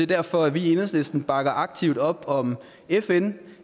derfor at vi i enhedslisten bakker aktivt op om fn